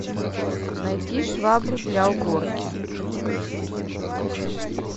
найти швабру для уборки